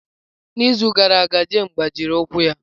N'izu gara aga Jane gbajiri ụkwụ ya.